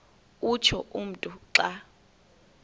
utsho umntu xa